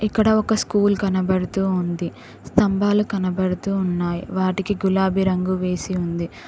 ఇక్కడ ఒక స్కూల్ కనబడుతూ ఉంది స్తంభాలు కనబడుతూ ఉన్నాయి వాటికి గులాబీ రంగు వేసి ఉంది.